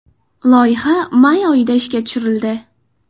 Loyiha may oyida ishga tushirildi.